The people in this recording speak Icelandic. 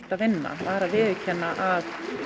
að vinna var að viðurkenna að